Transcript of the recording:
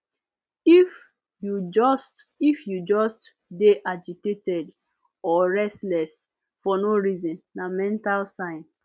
if you just if you just dey agitated or restless for no reason na mental sign